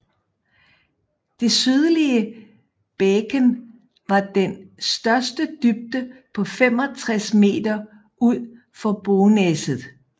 Det sydlige bæken har den største dybde på 65 m ud for Bonäset